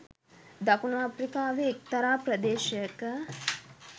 දකුණු අප්‍රිකාවේ එක්තරා ප්‍රදේශයක